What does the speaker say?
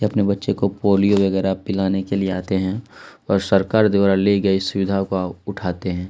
ये अपने बच्चों को पोलियो वगरह पिलाने के लिए आते हैं और सरकार द्वारा ली गई सुविधाओं को उठाते हैं ।